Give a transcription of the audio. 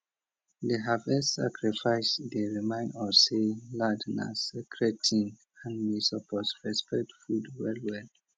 di harvest sacrifice dey remind us say land na sacred thing and we suppose respect food well well